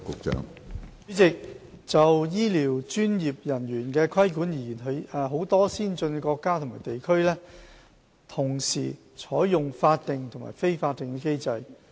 主席，就醫療專業人員的規管而言，許多先進國家或地區同時採用法定和非法定的機制。